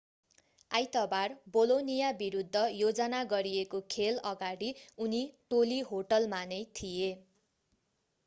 आइतबार बोलोनिया विरुद्ध योजना गरिएको खेल अगाडि उनी टोली होटेलमा नै थिए